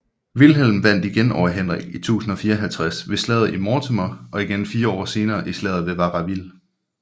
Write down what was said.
Vilhelm vandt over Henrik i 1054 ved slaget i Mortemer og igen fire år senere i slaget ved Varaville